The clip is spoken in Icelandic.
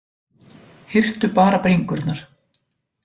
Hirtu bara bringurnar